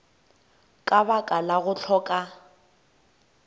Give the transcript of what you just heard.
ka baka la go hloka